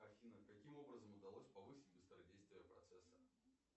афина каким образом удалось повысить быстродействие процесса